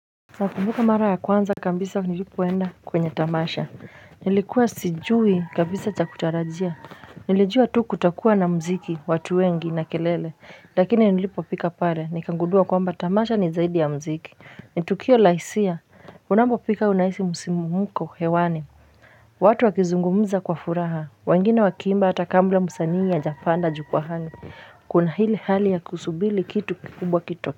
Nakumbuka mara ya kwanza kambisa nilipoenda kwenye tamasha nilikuwa sijui kabisa cha kutarajia Nilijua tu kutakuwa na mziki watu wengi na kelele lakini nilipofika pare nikangudua kwamba tamasha ni zaidi ya mziki nitukio la hisia unambopika unahisi musimumko hewani watu wakizungumuza kwa furaha wengine wakiimba hata kambla musanii hajapanda jukuwahani Kuna hili hali ya kusubili kitu kikubwa kito.